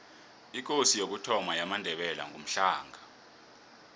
ikosi yokuthoma yamandebele ngumhlanga